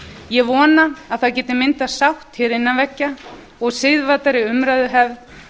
ég vona að það geti myndast sátt hér innan veggja og siðvæddari umræðuhefð